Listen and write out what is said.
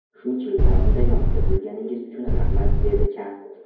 Shuncha yil davomida yonimda bo‘lganingiz uchun rahmat”, dedi Chan.